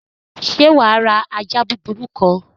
Sé wàá ra ajá búburú kan?